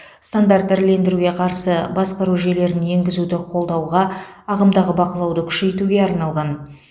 стандарт ірілендіруге қарсы басқару жүйелерін енгізуді қолдауға ағымдағы бақылауды күшейтуге арналған